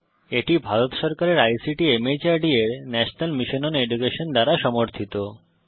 এটি ভারত সরকারের আইসিটি মাহর্দ এর ন্যাশনাল মিশন ওন এডুকেশন দ্বারা সমর্থিত